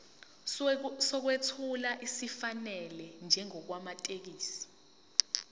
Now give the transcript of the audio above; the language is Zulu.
sokwethula esifanele njengamathekisthi